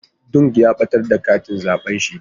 Dung ya batar da katin zabe shi.